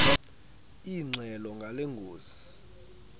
ingxelo ngale ngozi